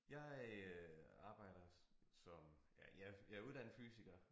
Jeg øh arbejder som ja jeg jeg uddannet fysiker